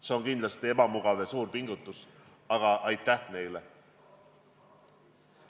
See on kindlasti ebamugav ja suur pingutus, aga aitäh neile!